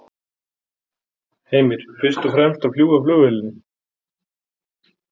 Heimir: Fyrst og fremst að fljúga flugvélinni?